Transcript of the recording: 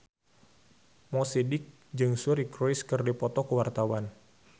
Mo Sidik jeung Suri Cruise keur dipoto ku wartawan